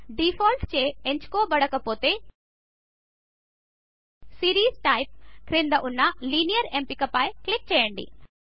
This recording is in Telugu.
డీఫాల్ట్చే ఎంచుకొనబడకపోతే సీరీస్ టైప్ క్రింద ఉన్న లైనియర్ ఎంపిక పై న క్లిక్ చేయండి